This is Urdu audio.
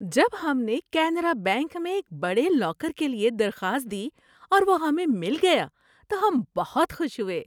جب ہم نے کینرا بینک میں ایک بڑے لاکر کے لیے درخواست دی اور وہ ہمیں مل گیا تو ہم بہت خوش ہوئے۔